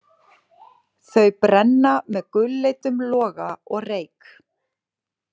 Þau brenna með gulleitum loga og reyk.